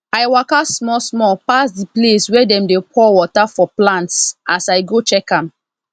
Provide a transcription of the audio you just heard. i waka small small pass the place wey them dey pour water for plants as i go check am